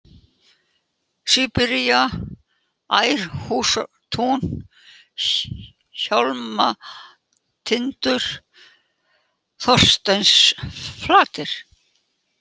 Síbería, Ærhústún, Hjálmatindur, Þorsteinsflatir